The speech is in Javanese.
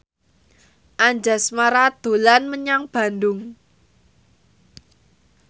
Anjasmara dolan menyang Bandung